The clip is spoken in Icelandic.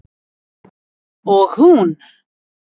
Og hún